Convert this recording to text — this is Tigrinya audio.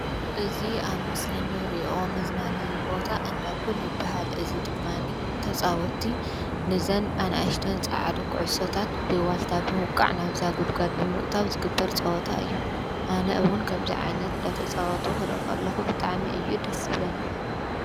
እዚ ኣብ ምስሊ እንሪኦ መዝናነይ ቦታ እንዳ ፑል ይብሃል፡፡ እዚ ድማኒ ተፃወቲ ነዘን ኣናእሽቲ ፃዓዱ ኩዕሾታት ብዋልታ ብምውቃዕ ናብዛ ጉድጓድ ብምእታው ዝግበር ፀወታ እዩ፡፡ ኣነ እውን ከምዚ ዓይነት እናተፃወቱ ክሪኢ ከለኩ ብጣዕሚ እዩ ደስ ዝብለኒ፡፡